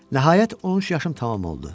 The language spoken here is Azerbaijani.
Nəhayət, 13 yaşım tamam oldu.